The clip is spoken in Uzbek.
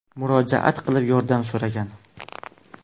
murojaat qilib, yordam so‘ragan.